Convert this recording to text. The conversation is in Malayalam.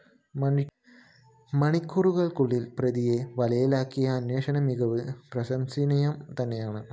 മണിക്കൂറുകള്‍ക്കുളളില്‍ പ്രതിയെ വലയിലാക്കിയ അന്വേഷണ മികവ് പ്രശംസനീയം തന്നെയാണ്